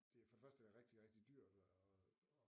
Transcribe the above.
Det er for det første rigtig rigtig dyrt